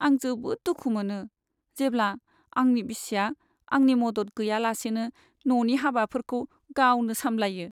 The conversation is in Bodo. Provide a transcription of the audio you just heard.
आं जोबोद दुखु मोनो जेब्ला आंनि बिसिया आंनि मदद गैयालासेनो न'नि हाबाफोरखौ गावनो सामलायो।